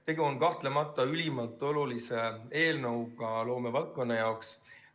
Tegu on kahtlemata ülimalt olulise eelnõuga loomevaldkonna jaoks.